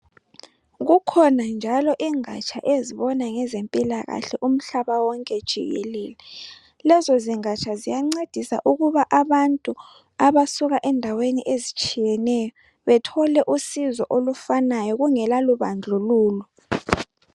Kukhona njalo ingatsha ezibona ngezempilakahle umhlaba wonke jikelele. Lezo zingatsha ziyancedisa ukuba abantu abasuka endaweni ezitshiyeneyo bethole usizo elufanayo kungela bandlululo.